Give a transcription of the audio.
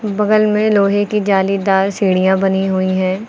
बगल में लोहे की जालीदार सीढ़ियां बनी हुई है।